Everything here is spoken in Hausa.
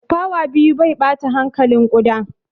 Fawa biyu mai ɓata hankalin ƙuda.